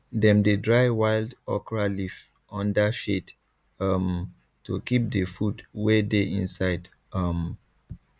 dem dey dry wild okra leaf under shade um to keep the food wey dey inside um